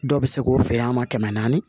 Dɔw bɛ se k'o feere an ma kɛmɛ naani